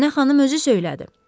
Mənə xanım özü söylədi.